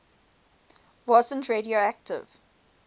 wasn t radioactive